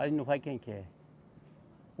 Aí no vai quem quer.